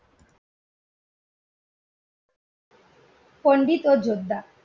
পন্ডিত ও যোদ্ধা